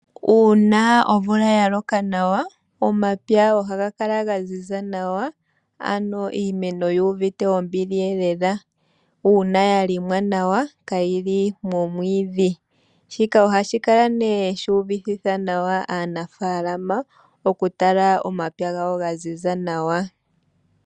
Uuna omvula ya loka nawa omapya oha ga kala ga ziza nawa ano iimeno yu uvite ombili lela, uuna ya limwa nawa ka yili momwiidhi. Shika oha shi kala ne shi uvitithe nawa aanafaalama oku tala omapya gawo ga ziza nawa .